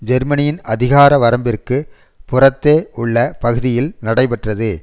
ஜெர்மனியின் அதிகார வரம்பிற்கு புறத்தே உள்ள பகுதியில் நடைபெற்றது